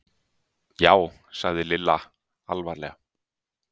Já sagði Lilla alvarlega.